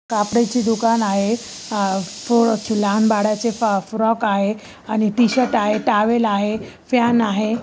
कापडा चि दुकान आहे अ म म पोराचे अ अ लहान बाळाचे फ फ्रॉक आहे आणि टी-शर्ट आहे टॉवेल आहे फॅन आहे.